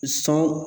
Sɔn